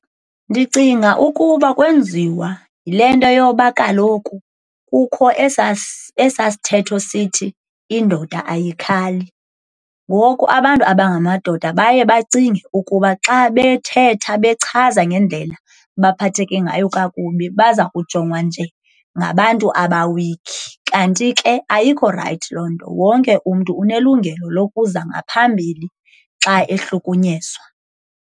Ndicinga ukuba kwenziwa yile nto yoba kaloku kukho esaa sithetho sithi indoda ayikhali. Ngoku abantu abangamadoda baye bacinge ukuba xa bethetha bechaza ngendlela abaphatheke ngayo kakubi baza kujongwa njengabantu aba-weak. Kanti ke ayikho rayithi loo nto, wonke umntu unelungelo lokuza ngaphambili xa ehlukunyezwa.